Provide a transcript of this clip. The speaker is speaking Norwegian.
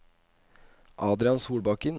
Adrian Solbakken